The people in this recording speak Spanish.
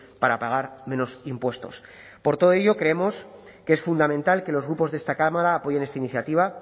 para pagar menos impuestos por todo ello creemos que es fundamental que los grupos de esta cámara apoyen esta iniciativa